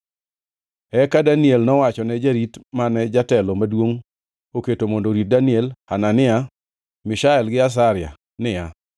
Eka Daniel nowachone jarit mane jatelo maduongʼ oketo mondo orit Daniel, Hanania, Mishael gi Azaria niya,